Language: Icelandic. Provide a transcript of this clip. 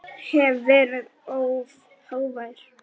Hef verið of hávær.